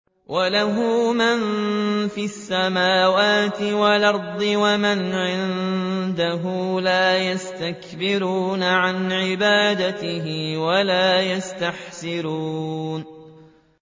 وَلَهُ مَن فِي السَّمَاوَاتِ وَالْأَرْضِ ۚ وَمَنْ عِندَهُ لَا يَسْتَكْبِرُونَ عَنْ عِبَادَتِهِ وَلَا يَسْتَحْسِرُونَ